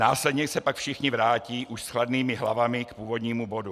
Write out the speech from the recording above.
Následně se pak všichni vrátí už s chladnými hlavami k původnímu bodu.